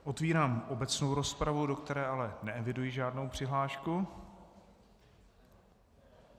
Otevírám obecnou rozpravu, do které ale neeviduji žádnou přihlášku.